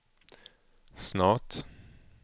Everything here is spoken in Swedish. snart